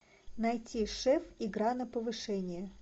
найти шеф игра на повышение